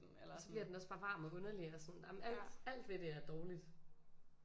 Så bliver den også bare varm og underlig og sådan jamen alt alt ved det er dårligt